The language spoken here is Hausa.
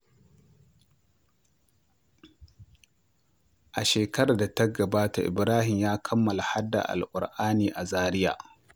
A shekarar da ta gabata, Ibrahim ya kammala haddar Alƙur’ani a Zaria.